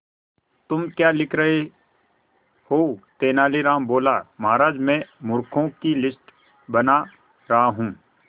तुम क्या लिख रहे हो तेनालीराम बोला महाराज में मूर्खों की लिस्ट बना रहा हूं